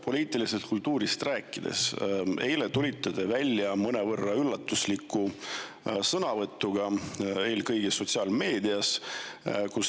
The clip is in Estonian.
Poliitilisest kultuurist rääkides, eile tulite te välja sotsiaalmeedias mõnevõrra üllatusliku sõnavõtuga.